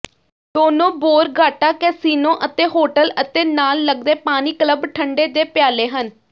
ਦੋਨੋ Borgata casino ਅਤੇ hotel ਅਤੇ ਨਾਲ ਲੱਗਦੇ ਪਾਣੀ ਕਲੱਬ ਠੰਢੇ ਦੇ ਪਿਆਲੇ ਹਨ